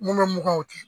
Mun bɛ mugan di